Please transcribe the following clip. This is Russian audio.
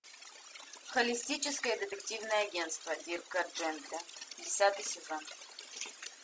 холистическое детективное агентство дирка джентли десятый сезон